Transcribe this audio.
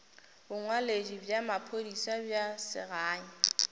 bongwaledi bja maphodisa bja segae